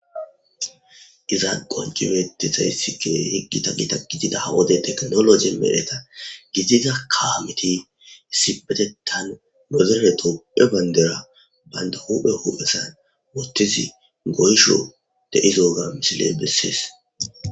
Iza qonci betizayssikiwey ggita gita gidida wode teknologe medheta gidida kawameti sipetetan nodere tophe bayndera baynda huphe huphesan wotisi goysho deizoga misile bessees.